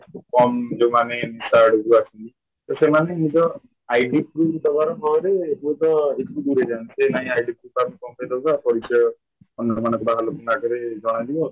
କମ ଯୋଉମାନେ ନିଶା ଆଡକୁ ଆସନ୍ତି ତ ସେମାନେ ନିଜ Lang: ForeignID Lang: Foreignprove ଦବାର ଫଳରେ ଦୂରେଇଯାନ୍ତେ ସେନାହିଁ Lang: ForeignidLang: Foreignprove ତାକୁ କଣ ପାଇଁ ଦଉଚ ପରିଚୟ ଅନ୍ୟ ବାହାର ଲୋକଙ୍କ ଆଗରେ ଜଣାଯିବ